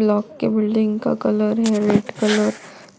लोक के बिल्डिंग का कलर है रेड कलर।